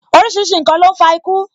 Orísìírísìí n kan ló ń fa iku